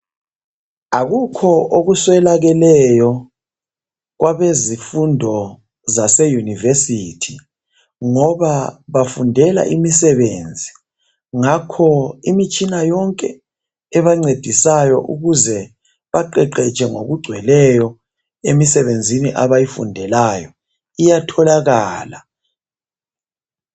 Akukho okuswelakeleyo kwabezifundo zase university .Ngoba bafundela imisebenzi .Ngakho imitshina yonke ebancedisayo ukuze baqeqetshe ngoku gcweleyo emisebenzini abayifundelayo iyatholakala.